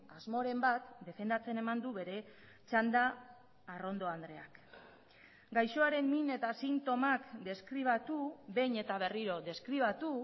asmoren bat defendatzen eman du bere txanda arrondo andreak gaixoaren min eta sintomak deskribatu behin eta berriro deskribatu